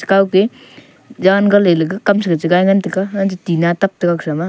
kao keh ye jan gale lega kam sa kajai taga antaga tina tak taga gasama.